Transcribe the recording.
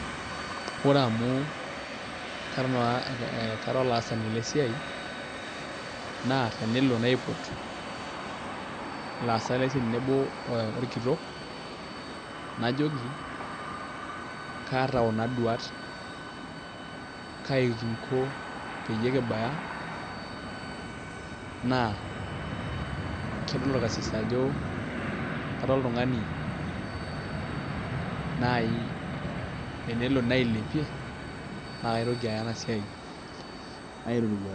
ore amu kara olasani lesia, naa tenelo naiput, laasak lesiai tenebo olkitok najoki kaata kuna duat ,kaji kinko peyie kibaya naa kedol olkrsis ajo kara oltungani naaji tenelo nailepie naa kaitoki aya ena siai ae roruata.